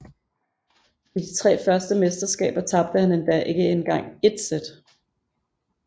I de første tre mesterskaber tabte han endda ikke engang ét sæt